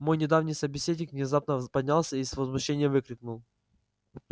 мой недавний собеседник внезапно поднялся и с возмущением выкрикнул